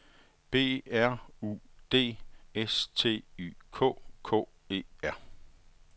B R U D S T Y K K E R